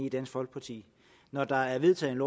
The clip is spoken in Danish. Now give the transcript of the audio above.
i dansk folkeparti når der er vedtaget